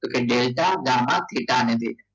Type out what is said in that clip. તો કે delta gamma અને ક્રેટા ને થેતા